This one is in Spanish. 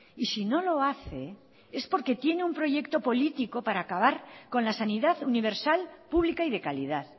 y si no lo hace es porque tiene un proyecto político para acabar con la sanidad universal pública y de calidad